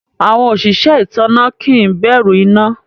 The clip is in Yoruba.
Awọn osìsẹ̀ itánná kí n bẹ̀rù iná.